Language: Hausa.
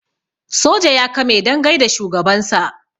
soja ya kame don gaida shugabansa